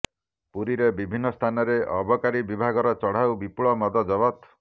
ପୁରୀରେ ବିଭିନ୍ନ ସ୍ଥାନରେ ଅବକାରୀ ବିଭାଗର ଚଢ଼ଉ ବିପୁଳ ମଦ ଜବତ